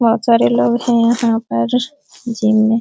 बहुत सारे लोग हैं यहाँ पर जिम में।